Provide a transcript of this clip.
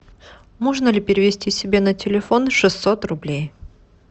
можно ли перевести себе на телефон шестьсот рублей